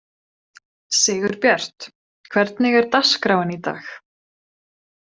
Sigurbjört, hvernig er dagskráin í dag?